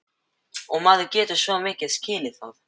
Og maður getur svo sem skilið það.